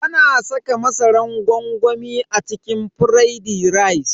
Ana saka masaran gwangwami a cikin firaidi rice.